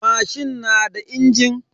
Mashin na da injin.